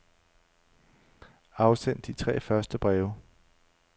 Afsend de tre første breve.